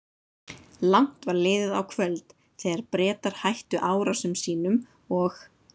Langt var liðið á kvöld, þegar Bretar hættu árásum sínum og